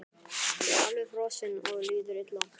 Ég er alveg frosinn og líður illa.